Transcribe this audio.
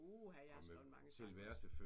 Uha jeg har skrevet mange sange